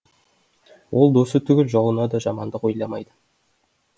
ол досы түгіл жауына да жамандық ойламайды